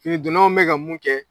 Finidonnanw bɛ ka mun kɛ